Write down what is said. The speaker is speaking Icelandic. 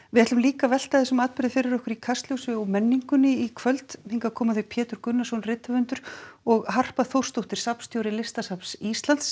við ætlum líka að velta þessum atburði fyrir okkur í Kastljósi og menningunni í kvöld hingað koma þau Pétur Gunnarsson rithöfundur og Harpa Þórsdóttir safnstjóri Listasafns Íslands